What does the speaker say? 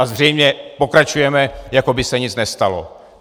A zřejmě pokračujeme, jako by se nic nestalo.